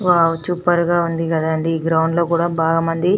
wow super గ ఉంది కదా అంది ఈ గ్రౌండ్ లో కూడా చాల మంది --